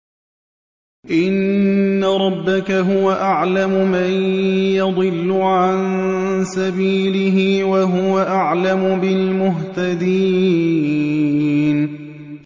إِنَّ رَبَّكَ هُوَ أَعْلَمُ مَن يَضِلُّ عَن سَبِيلِهِ ۖ وَهُوَ أَعْلَمُ بِالْمُهْتَدِينَ